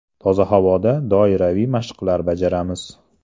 Toza havoda doiraviy mashqlar bajaramiz .